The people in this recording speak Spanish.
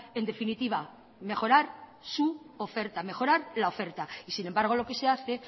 en definitiva mejorar su oferta mejorar la oferta y sin embargo lo que se hace